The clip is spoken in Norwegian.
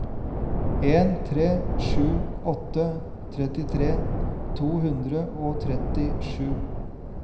en tre sju åtte trettitre to hundre og trettisju